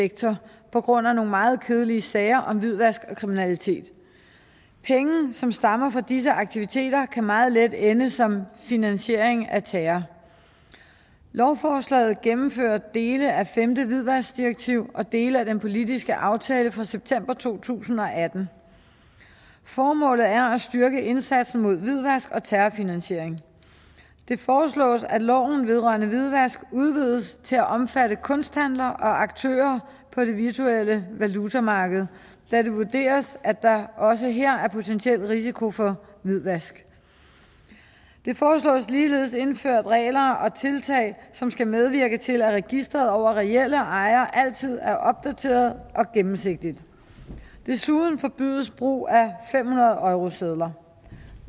sektor på grund af nogle meget kedelige sager om hvidvask og kriminalitet penge som stammer fra disse aktiviteter kan meget let ende som en finansiering af terror lovforslaget gennemfører dele af femte hvidvaskdirektiv og dele af den politiske aftale fra september to tusind og atten formålet er at styrke indsatsen mod hvidvask og terrorfinansiering det foreslås at loven vedrørende hvidvask udvides til at omfatte kunsthandlere og aktører på det virtuelle valutamarked da det vurderes at der også her er potentiel risiko for hvidvask der foreslås ligeledes indført regler og tiltag som skal medvirke til at registeret over reelle ejere altid er opdateret og gennemsigtigt desuden forbydes brug af fem hundrede eurosedler